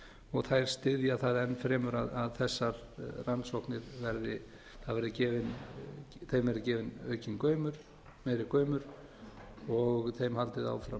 og þær styðja það enn fremur að þessar rannsóknir verði þeim verði gefinn meiri gaumur og þeim haldið áfram